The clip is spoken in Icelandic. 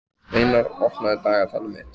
Steinar, opnaðu dagatalið mitt.